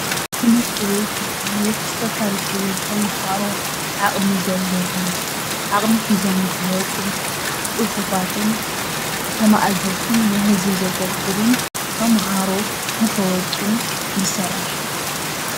ትምህርቲ ቤት ብዝተፈላለዩ ተምሃሮ ዓቅሚ ዘለዎም ዓቅሚ ሒዞም ንክወፁ ፅፉፋትን ተማእዘዝትን ንህዝቢ ዘገልግሉን ተምሃሮ ንክወፁ ይሰርሕ፡፡